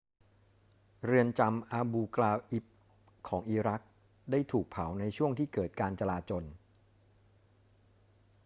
เรือนจำอาบูกราอิบของอิรักได้ถูกเผาในช่วงที่เกิดการจราจล